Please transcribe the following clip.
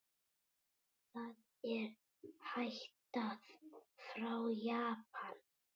Það er ættað frá Japan.